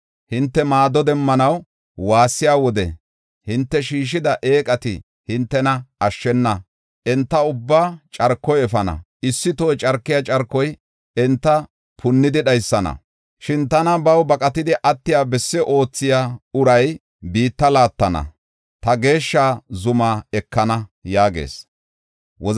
Hinte maado demmanaw waassiya wode hinte shiishida eeqati hintena ashshena! Enta ubbaa carkoy efana; issi toho carkiya carkoy enta punnidi dhaysana. Shin tana baw baqatidi attiya besse oothiya uray biitta laattana; ta geeshsha zumaa ekana” yaagees.